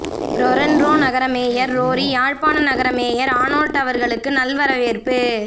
Toronto நகர mayor Rory Jaffna நகர mayor Arnold அவர்களுக்கு நல்வரவேற்பு